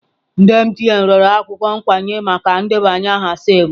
MTN rịọrọ akwụkwọ nkwenye maka ndebanye aha SIM m.